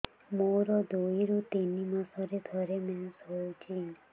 ମୋର ଦୁଇରୁ ତିନି ମାସରେ ଥରେ ମେନ୍ସ ହଉଚି